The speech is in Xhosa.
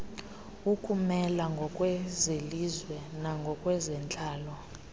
ukumela ngokwezelizwe nangokwezentlalo